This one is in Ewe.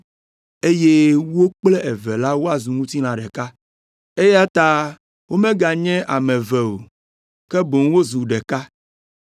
eye wo kple eve la woazu ŋutilã ɖeka. Eya ta womeganye ame eve o, ke boŋ wozu ɖeka.